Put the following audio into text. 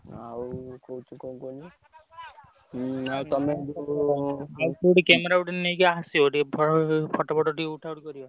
ଆଉ ହଉଛି କଣ କୁହନି ଆଉ ତମେ